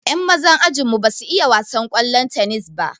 Yan mazan ajinmu ba su iya wasan ƙwallon tennis ba.